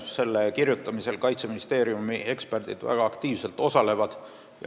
Selle kirjutamisel osalevad väga aktiivselt ka Kaitseministeeriumi eksperdid.